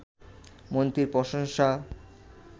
মন্ত্রীর প্রশংসা